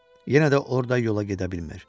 Yenə də orda yola gedə bilmir.